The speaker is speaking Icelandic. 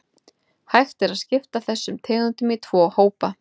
Hægt er að skipta þessum tegundum í tvo hópa.